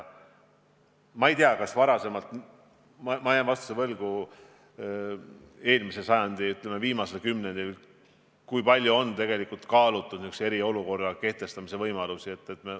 Ma ei tea, kas varasemalt – ma jään vastuse võlgu –, näiteks eelmise sajandi viimasel kümnendil on üldse kaalutud eriolukorra kehtestamise võimalust.